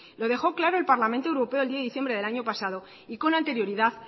lo dejó claro el parlamento europeo el diez de diciembre del año pasado y con anterioridad